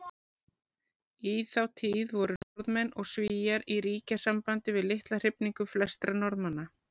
Í þá tíð voru Norðmenn og Svíar í ríkjasambandi við litla hrifningu flestra Norðmanna.